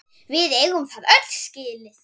Við eigum það öll skilið!